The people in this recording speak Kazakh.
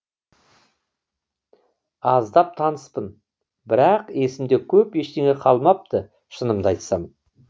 аздап таныспын бірақ есімде көп ештеңе қалмапты шынымды айтсам